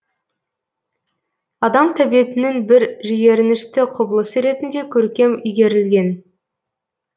адам тәбетінің бір жиренішті құбылысы ретінде көркем игерілген